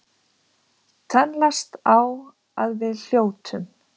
Tönnlast á að við hljótum.